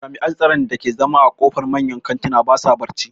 Jami'an tsaron da ke zama a ƙofar manyan kantuna ba sa barci